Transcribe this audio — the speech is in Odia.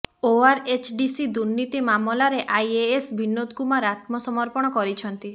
ଓଆରଏଚଡିସି ଦୁର୍ନୀତି ମାମଲାରେ ଆଇଏଏସ ବିନୋଦ କୁମାର ଆତ୍ମସମର୍ପଣ କରିଛନ୍ତି